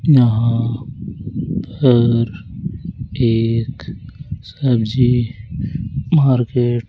यहां पर एक सब्जी मार्केट --